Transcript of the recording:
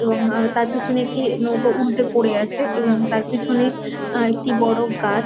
এবং আ তার পেছনে একটি নৌকো উল্টে পরে আছে এবং তার পেছনে একটি আ বড় গাছ --